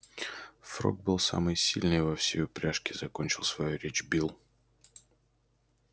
фрог был самый сильный во всей упряжке закончил свою речь билл